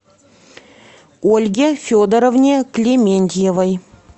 ольге федоровне клементьевой